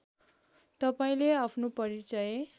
तपाईँले आफ्नो परिचय